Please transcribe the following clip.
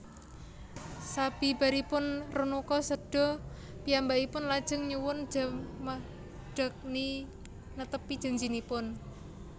Sabibaripun Renuka séda piyambakipun lajeng nyuwun Jamadagni netepi janjiipun